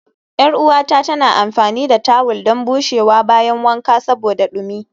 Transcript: Yar uwata tana amfani da tawul don bushewa bayan wanka saboda dumi